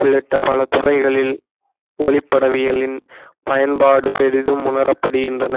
உள்ளிட்ட பல துறைகளில் ஒளிபடவியலின் பயன்பாடு பெரிதும் உணரப்படுகின்றன